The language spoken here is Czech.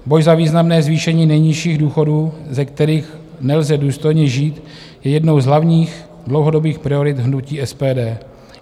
Boj za významné zvýšení nejnižších důchodů, ze kterých nelze důstojně žít, je jednou z hlavních dlouhodobých priorit hnutí SPD.